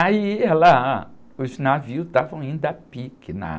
Aí, ela, os navios estavam indo a pique, na...